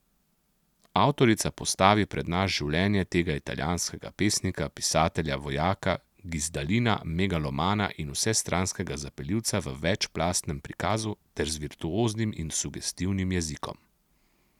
Avtorica postavi pred nas življenje tega italijanskega pesnika, pisatelja, vojaka, gizdalina, megalomana in vsestranskega zapeljivca v večplastnem prikazu ter z virtuoznim in sugestivnim jezikom.